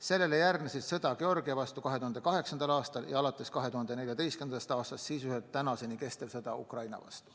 Sellele järgnesid sõda Georgia vastu 2008. aastal ja alates 2014. aastast sisuliselt tänaseni kestev sõda Ukraina vastu.